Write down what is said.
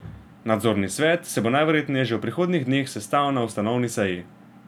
Nadzorni svet se bo najverjetneje že v prihodnjih dneh sestal na ustanovni seji.